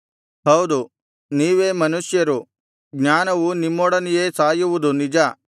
ಹೌದು ನೀವೇ ಮನುಷ್ಯರು ಜ್ಞಾನವು ನಿಮ್ಮೊಡನೆಯೇ ಸಾಯುವುದು ನಿಜ